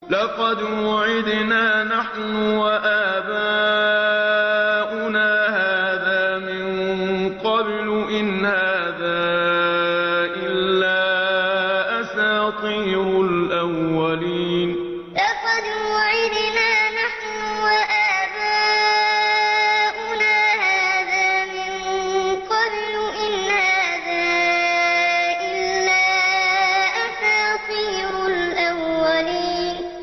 لَقَدْ وُعِدْنَا نَحْنُ وَآبَاؤُنَا هَٰذَا مِن قَبْلُ إِنْ هَٰذَا إِلَّا أَسَاطِيرُ الْأَوَّلِينَ لَقَدْ وُعِدْنَا نَحْنُ وَآبَاؤُنَا هَٰذَا مِن قَبْلُ إِنْ هَٰذَا إِلَّا أَسَاطِيرُ الْأَوَّلِينَ